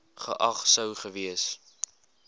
geag sou gewees